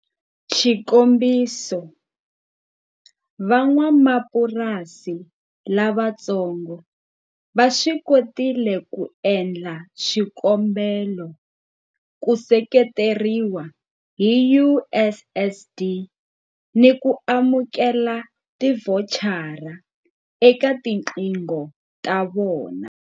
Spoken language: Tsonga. Xikombiso, Van'wamapurasi lavatsongo va swi kotile ku endla swikombelo ku seketeriwa hi USSD ni ku amukela tivhochara eka tiqingho ta vona.